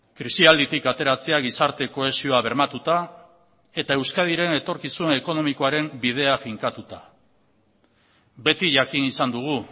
krisialditik ateratzea gizarte kohesioa bermatuta eta euskadiren etorkizun ekonomikoaren bidea finkatuta beti jakin izan dugu